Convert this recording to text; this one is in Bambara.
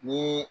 Ni